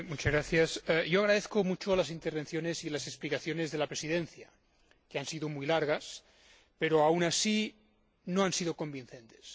Señora Presidenta, agradezco mucho las intervenciones y las explicaciones de la Presidencia, que han sido muy largas, pero, aun así, no han sido convincentes.